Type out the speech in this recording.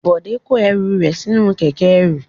Bọ̀dé ń kó ẹru rẹ̀ sí inú kẹ̀kẹ́ ẹrú.